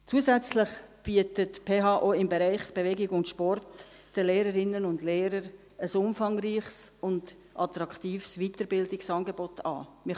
Zusätzlich bietet die PH den Lehrerinnen und Lehrern auch im Bereich Bewegung und Sport ein umfangreiches und attraktives Weiterbildungsangebot an.